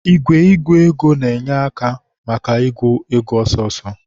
Igwe ịgụ ego na-enye aka maka ịgụ ego ọsọọsọ